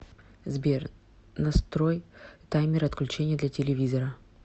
сбер настрой таймер отключения для телевизора